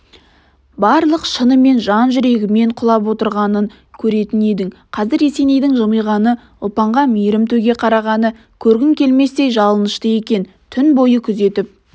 барлық шынымен жан-жүрегімен құлап отырғанын көретін едің қазір есенейдің жымиғаны ұлпанға мейірім төге қарағаны көргің келместей жалынышты екен түн бойы күзетіп